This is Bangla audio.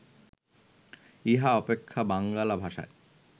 ইহা অপেক্ষা বাঙ্গালা ভাষায়